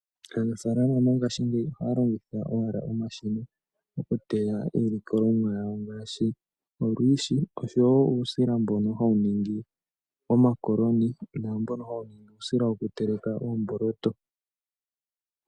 Aanafaalama mongaashingeyi ohaya longitha owala omashina oku teya iilikolomwa yawo ngaashi olwiishi oshowo uusila mbono hawu ningi omakoloni naambono hawu ningi uusila woku teleka oomboloto.